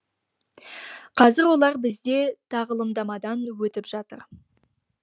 қазір олар бізде тағылымдамадан өтіп жатыр